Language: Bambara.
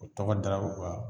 O tɔgɔ dara o ka